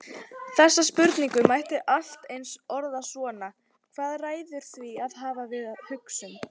Þessa spurningu mætti allt eins orða svona: Hvað ræður því hvað við við hugsum?